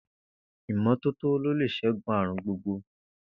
Ìmó̩tótó ló lè s̩égun àrùn gbogbo